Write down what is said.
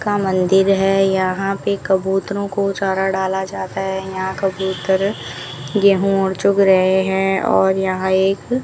का मंदिर है यहां पे कबूतरों को चारा डाला जाता है यहां कबूतर गेहूं और चुग रहे हैं और यहां एक --